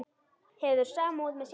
Hefur samúð með sjálfum sér.